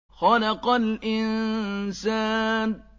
خَلَقَ الْإِنسَانَ